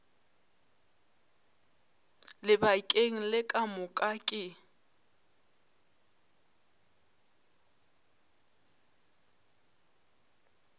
lebakeng le ka moka ke